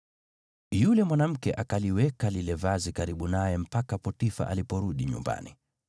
Yule mwanamke akaliweka lile vazi karibu naye mpaka Potifa aliporudi nyumbani.